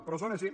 però són així